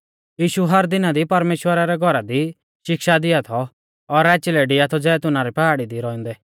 यीशु हर दिना दी परमेश्‍वरा रै घौरा दी शिक्षा दिआ थौ और राची लै डिआ थौ जैतूना री पहाड़ी दी रौउंदै